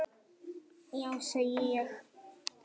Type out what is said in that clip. Já segi ég.